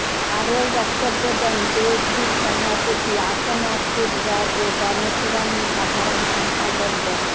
আরও বক্তব্য দেন জেএসডির সভাপতি আসম আবদুর রব ও গণফোরামের সাধারণ সম্পাদক ড